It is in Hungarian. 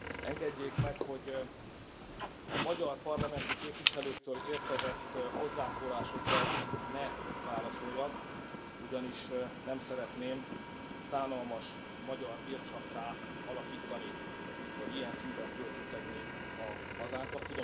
Engedjék meg, hogy a magyar parlamenti képviselőktől érkezett hozzászólásokra ne válaszoljak, ugyanis nem szeretném szánalmas magyar vircsafttá alakítani, vagy ilyen színben feltüntetni a hazánkat.